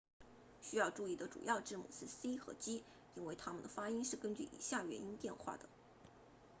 需要注意的主要字母是 c 和 g 因为它们的发音是根据以下元音变化的